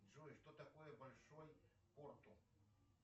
джой что такое большой порту